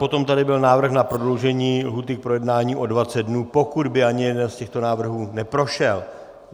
Potom tady byl návrh na prodloužení lhůty k projednání o 20 dnů, pokud by ani jeden z těchto návrhů neprošel.